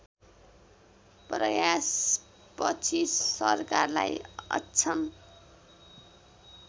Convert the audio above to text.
प्रयासपछि सरकारलाई अक्षम